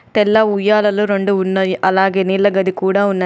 తెల్ల ఉయ్యాలలు రెండు ఉన్నాయి. అలాగే నీళ్ళ గది కూడా ఉన్నది.